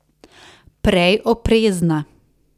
Prej oprezna.